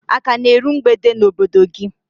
A ka na eru mgbede n'obodo gị?